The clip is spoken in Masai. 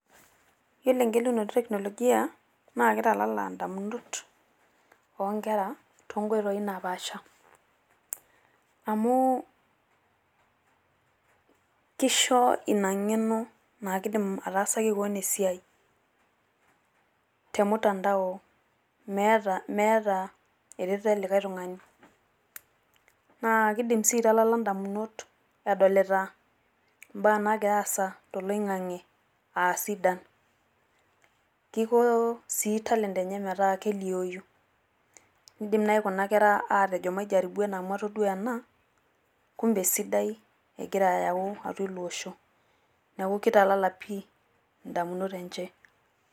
Yielo egelunoto etekinolojia naa keitalala idamunot oo nkera too nkoitoi napaasha. Amu keisho Ina ng'eno naa keidim ataasaki kewan esiai te ormutandao emeeta eretoto elikae tung'ani. Naa keidim sii aitalala edamunot enodikta embaa naagira aasa tolong'ang'e aa sidan. Keidim sii edamunot metaa kelioyu, keidim naaji Kuna Kera aatejo maijaribu ena amu atodua ena kumbe esidai egira ayau ilo Osho neeku keitalala pi' edamunot enche.